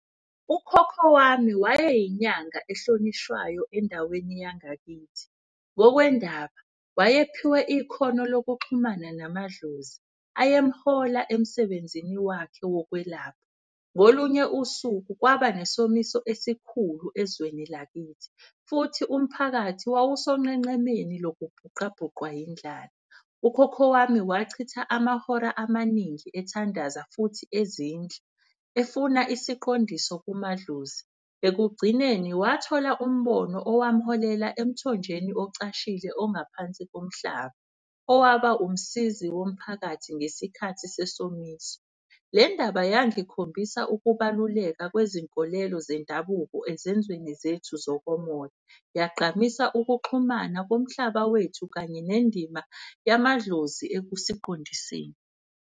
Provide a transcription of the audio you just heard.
Ukhokho wami wayeyinyanga ehlonishwayo endaweni yangakithi. Ngokwendaba wayephiwe ikhono lokuxhumana namadlozi, ayemhola emsebenzini wakhe wokwelapha. Ngolunye usuku kwaba nesomiso esikhulu ezweni lakithi futhi umphakathi wawusonqenqemeni lokubhuqabhuqwa yindlala. Ukhokho wami wachitha amahora amaningi ethandaza futhi ezindla, efuna isiqondiso kumadlozi. Ekugcineni wathola umbono owamholela emthonjeni ocashile ongaphansi komhlaba, owaba umsizi womphakathi ngesikhathi sesomiso. Le ndaba yangikhombisa ukubaluleka kwezinkolelo zendabuko ezenzweni zethu zokomoya. Yagqamisa ukuxhumana komhlaba wethu kanye nendima yamadlozi ekusiqondiseni.